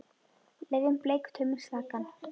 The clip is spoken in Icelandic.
Leyfum Bleik tauminn slakan.